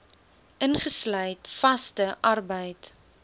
ingesluit vaste arbeid